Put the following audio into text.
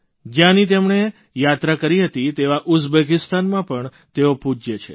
જ્યાંની તેમણે યાત્રા કરી હતી તેવા ઉઝબેકિસ્તાનમાં પણ તેઓ પૂજ્ય છે